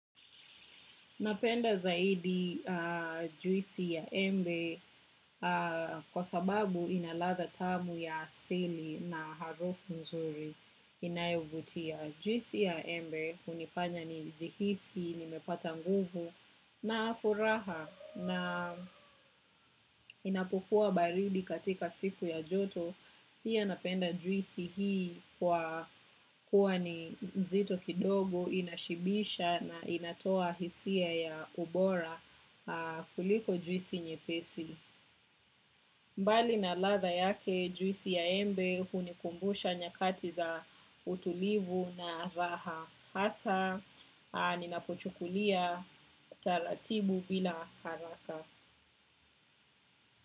Napenda zaidi juisi ya embe kwa sababu inalatha tamu ya asili na harufu mzuri inayovutia. Juisi ya embe unifanya ni jihisi, nimepata nguvu na furaha na inapokua baridi katika siku ya joto. Piya napenda juisi hii kwa kuwa ni zito kidogo, inashibisha na inatoa hisia ya ubora kuliko juisi nye pesi. Mbali na latha yake juisi ya embe hunikumbusha nyakati za utulivu na raha. Hasa, ninapochukulia, talatibu bila haraka.